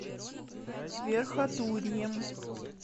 верхотурьем